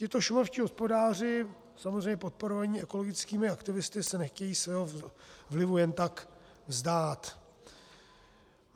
Tito šumavští hospodáři, samozřejmě podporovaní ekologickými aktivisty, se nechtějí svého vlivu jen tak vzdát.